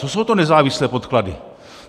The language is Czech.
Co jsou to nezávislé podklady?